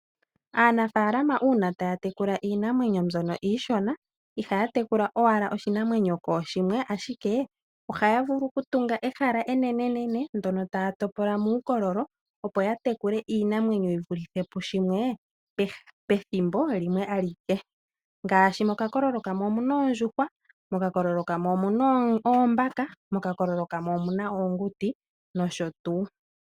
Aanafalama una taya tekula iinamwenyo mbyono iishona ihaya tekula owala oshinamwenyo koshimwe ashike ohaya vulu oku tunga ehala enenene ndono taya topo lamo uukolololo opo ya tekule iinamwenyo yi vulithe pushimwe pethimbo limwe alike ngashi mokakololo kamwe omu na oondjuhwa momukwamwe omu na oombaka momukwamwe omu na oonguti nosho tu.